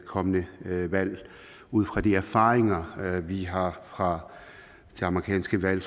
kommende valg set ud fra de erfaringer vi har fra det amerikanske valg